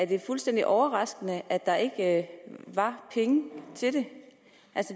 det fuldstændig overraskende at der ikke var penge til det